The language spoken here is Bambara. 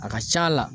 A ka c'a la